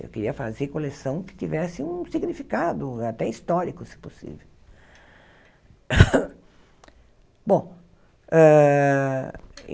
Eu queria fazer coleção que tivesse um significado, até histórico, se possível. Bom hã